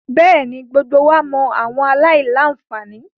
Bẹẹni, gbogbo wa mọ awọn alailanfani